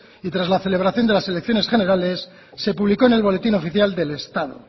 y tras la celebración de las elecciones generales se publicó en el boletín oficial del estado